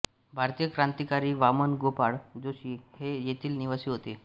भारतीय क्रांतिकारी वामन गोपाळ जोशी हे येथील निवासी होते